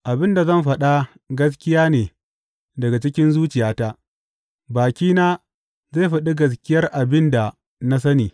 Abin da zan faɗa gaskiya ne daga cikin zuciyata; bakina zai faɗi gaskiyar abin da na sani.